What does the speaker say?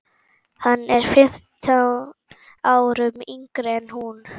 Hann er fimm árum yngri en hún.